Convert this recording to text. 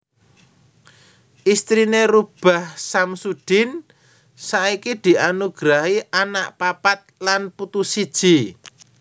Istriné Rubaah Samsudin saiki dianugrahi anak papat lan putu siji